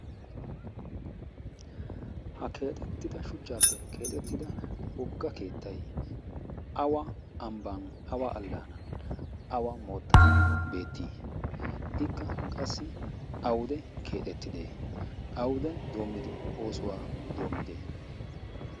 ha keexettida shuchchaappe keexettida wogga keettay awa ambban awa allaanan awa moottan beettii ikka qassi awude keexettide awude doommidi oosuwaa doommide